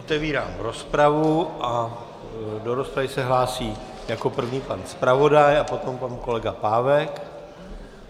Otevírám rozpravu a do rozpravy se hlásí jako první pan zpravodaj a potom pan kolega Pávek.